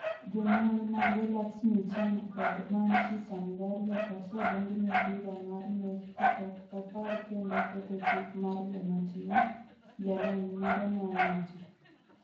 Jonyuol mage - LaxmiChand kod Manshi Samdariya - osedonjne bura mar nek ka ok opar kendo ketho chik mar Jomatin, jalony moro nowacho.